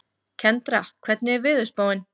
Kendra, hvernig er veðurspáin?